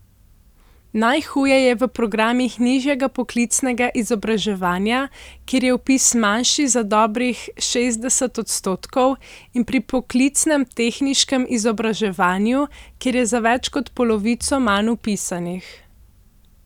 Najhuje je v programih nižjega poklicnega izobraževanja, kjer je vpis manjši za dobrih šestdeset odstotkov, in pri poklicnem tehniškem izobraževanju, kjer je za več kot polovico manj vpisanih.